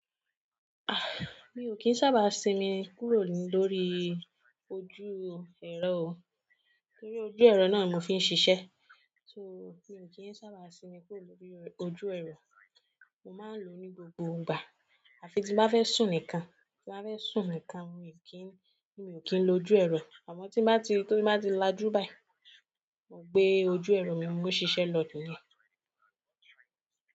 Ah! Mi ò kín sábà sinmi kúrò lórí ojú ẹ̀rọ o, torí ojú ẹ̀rọ náà mo fi ń ṣiṣẹ́. So, mi ò kín sábà sinmi kúrò lórí ojú ẹ̀rọ. Mo máa ń lo ní gbogbo gbà. À fi tí bá fẹ́ sùn nìkan, tí bá fẹ́ sùn nìkan mi ò kín lo ojú ẹ̀rọ. Àmọ́ tí bá ti lájú báyìí, mo gbé ojú ẹ̀rọ mi mó ń ṣiṣẹ́ lọ̀ nìyẹn.